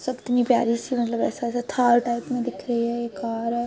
सब इतनी प्यारी सी मतलब ऐसा-ऐसा थार टाइप में दिख रही है। ये कार है।